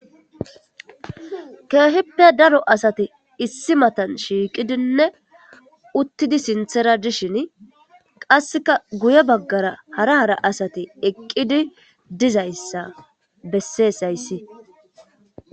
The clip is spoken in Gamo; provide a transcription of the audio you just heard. Keehippe daro asati issi matan shiiqidinne uttidi sinthera dishin qasseka guye baggara hara hara asati eqqidi dizayssa besseesayssi.